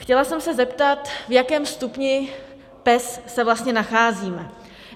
Chtěla jsem se zeptat, v jakém stupni PES se vlastně nacházíme.